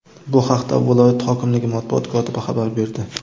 Bu haqda viloyat hokimligi matbuot kotibi xabar berdi.